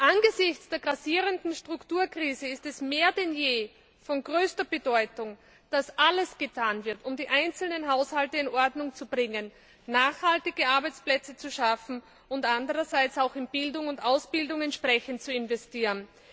Angesichts der grassierenden Strukturkrise ist es mehr denn je von größter Bedeutung, dass alles getan wird, um die einzelnen Haushalte in Ordnung zu bringen, nachhaltige Arbeitsplätze zu schaffen und auch in Bildung und Ausbildung entsprechend zu investieren.